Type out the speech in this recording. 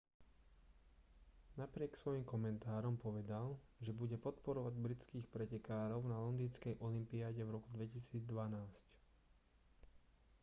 napriek svojim komentárom povedal že bude podporovať britských pretekárov na londýnskej olympiáde v roku 2012